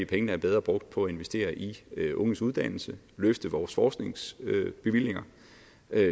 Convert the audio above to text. pengene er bedre brugt på at investere i unges uddannelse løfte vores forskningsbevillinger